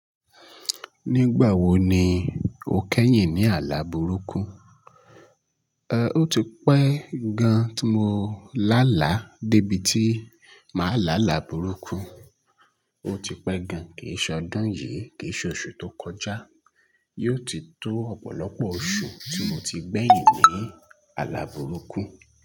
Nígbà wo ni o kẹ́yìn ní àlà burúkú? Ehn, ó ti pẹ́ gan tí mo lá là débí ti máa lá là burúkú. Ó ti pẹ́ gan, kì í ṣe ọdún yìí, kì í ṣe oṣù tó kọjá. Yóò ti tó ọ̀pọ̀lọpọ̀ oṣù tí mo ti gbẹ̀yìn ní àlà burúkú.